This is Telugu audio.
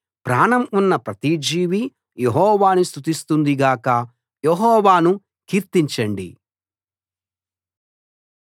ప్రాణం ఉన్న ప్రతి జీవీ యెహోవాను స్తుతిస్తుంది గాక యెహోవాను కీర్తించండి